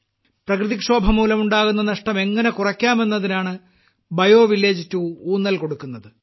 പ്രകൃതിക്ഷോഭംമൂലമുണ്ടാകുന്ന നഷ്ടം എങ്ങനെ കുറക്കാമെന്നതിനാണ് ബയോ വില്ലേജ് 2 ഊന്നൽ കൊടുക്കുന്നത്